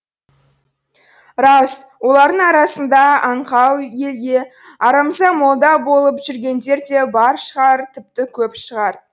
рас олардың арасында аңқау елге арамза молда болып жүргендер де бар шығар тіпті көп шығар